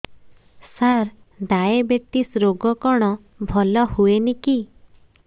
ସାର diabetes ରୋଗ କଣ ଭଲ ହୁଏନି କି